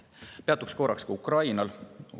Ma peatun korraks ka Ukrainal.